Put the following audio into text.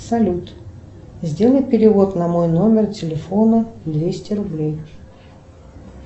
салют сделай перевод на мой номер телефона двести рублей